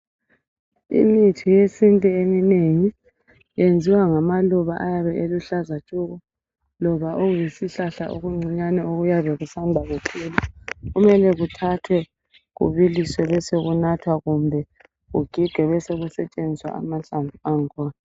Imithi yesintu eminengi iyenziwa ngamaluba ayabe eluhlaza tshoko loba okuyisihlahla okuncinyane okuyabe kuthathwa kubiliswe besokunathwa kumbe kugigwe besokusetshenziswa amahlamvu akhona.